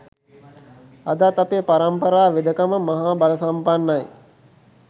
අදත් අපේ පරම්පරා වෙදකම මහා බලසම්පන්නයි